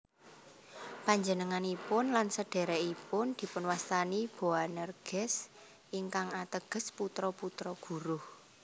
Panjenenganipun lan sedhèrèkipun dipunwastani Boanerges ingkang ateges putra putra guruh